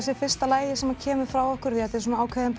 sé fyrsta lagið sem kemur frá okkur því þetta er svona ákveðin